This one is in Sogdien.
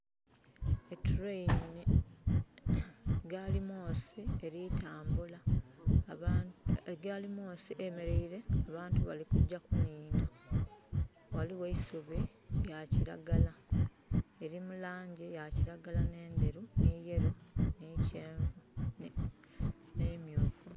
Etrain, gaali mwoosi eli tambula. Egaali mwoosi eyemeleire abantu bali kugya kunhinha. Ghaligho eisubi lya kiragala. Eli mu langi eya kiragala, ne ndheru, ni yellow, ni kyenvu, ne myufu.